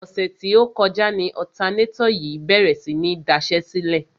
Ọ̀sẹ̀ tí ó kọjá ni ọ̀tanátọ̀ yìí bèrè sí ní daṣẹ́sílẹ̀.